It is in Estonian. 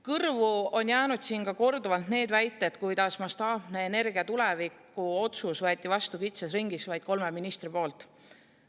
Kõrvu on jäänud siin korduvalt ka see väide, et mastaapne otsus energia tuleviku kohta võeti vastu kitsas ringis, vaid kolme ministri poolt.